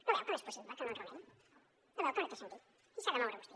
no veu que no és possible que no enrao nem no veu que no té sentit aquí s’ha de moure vostè